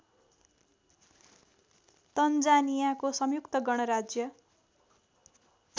तन्जानियाको संयुक्त गणराज्य